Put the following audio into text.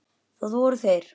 Það voru þeir